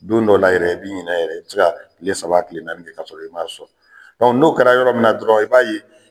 Don dɔw la yɛrɛ i bi ɲinɛ yɛrɛ, ce ka tile saba tile naani kɛ kasɔrɔ i m'a sɔn. n'o kɛra yɔrɔ min na dɔrɔn i b'a ye